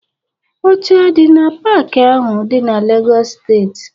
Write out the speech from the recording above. Oche adị na paaki ahụ dị na Legọs steeti?